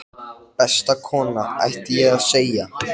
Besta kona, ætti ég að segja.